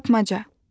Tapmaca.